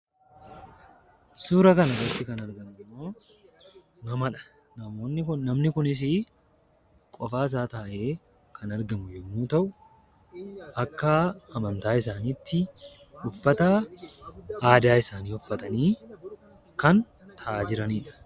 Suuraa kanarratti kan argamu immoo namadha. namni kunisii qofaa isaa taa'ee kan argamu yommuu ta'u, akka amantaa isaaniitti uffata aadaa isaanii uffatanii kan taa'aa jiraniidha.